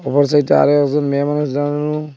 অপর সাইটে আরও একজন মেয়ে মানুষ দাঁড়ানো।